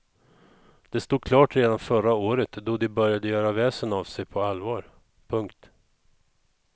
Det stod klart redan förra året då de började göra väsen av sig på allvar. punkt